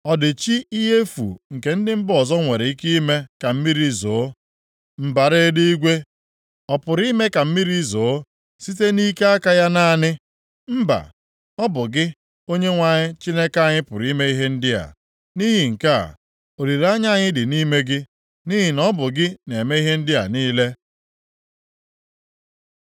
Ọ dị chi ihe efu nke ndị mba ọzọ nwere ike ime ka mmiri zoo? Mbara eluigwe ọ pụrụ ime ka mmiri zoo site nʼike aka ya naanị? Mba! Ọ bụ gị, Onyenwe anyị Chineke anyị pụrụ ime ihe ndị a. Nʼihi nke a, olileanya anyị dị nʼime gị, nʼihi na ọ bụ gị na-eme ihe ndị a niile.